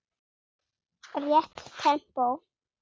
Rétt tempó.